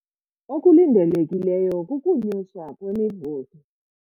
Okulindelekileyo kukunyuswa kwemivuzo.